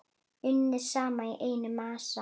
Unnið saman í einn massa.